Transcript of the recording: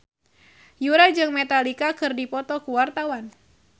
Yura jeung Metallica keur dipoto ku wartawan